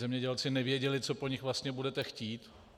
Zemědělci nevěděli, co po nich vlastně budete chtít.